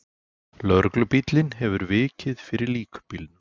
Lögreglubíllinn hefur vikið fyrir líkbílnum.